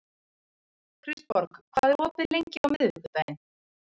Kristborg, hvað er opið lengi á miðvikudaginn?